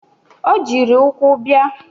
O jiri ụkwụ bịa.